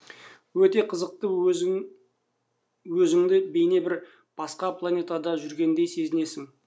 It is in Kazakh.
өте қызықты өзіңді бейне бір басқа планетада жүргендей сезінесің